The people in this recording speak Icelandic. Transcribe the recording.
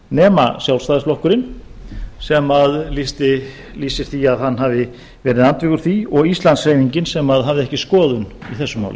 nema sjálfstæðisflokkurinn sem lýsir því að hann hafi verið andvígur því og íslandshreyfingin sem hafði ekki skoðun í þessu máli